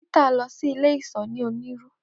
Peter lọ si ile iṣọ ni Oniru.